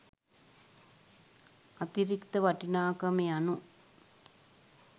අතිරික්ත වටිනාකම යනු